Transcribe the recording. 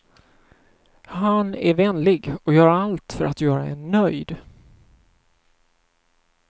Han är vänlig och gör allt för att göra en nöjd.